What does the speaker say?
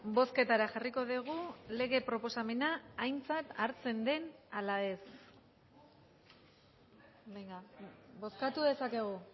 bozketara jarriko dugu lege proposamena aintzat hartzen den ala ez bozkatu dezakegu